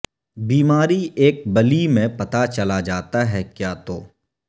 بیماری ایک بلی میں پتہ چلا جاتا ہے کیا تو